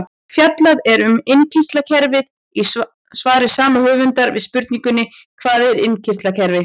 Fjallað er um innkirtlakerfið í svari sama höfundar við spurningunni Hvað er innkirtlakerfi?